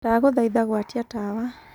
Ndagũthaitha gwatia tawa